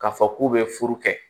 K'a fɔ k'u bɛ furu kɛ